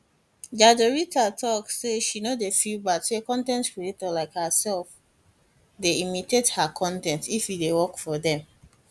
jadrolita tok say she no dey feel bad say con ten t creator like herself dey imitate her con ten t if e dey work for dem